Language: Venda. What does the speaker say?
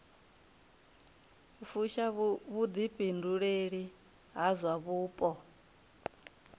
fusha vhuḓifhinduleli ha zwa vhupo